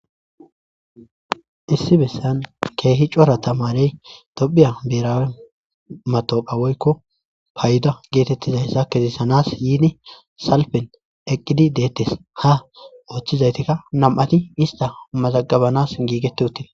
issi bessan keehi cora tamarey tophiya berawe matoqa woykko fayda geetettizayssa kezisanas yiidi salpen eqqidi deettes, ha ooththizaytikka nam7ati ista mazagabanas giigete utida.